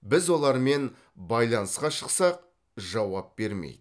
біз олармен байланысқа шықсақ жауап бермейді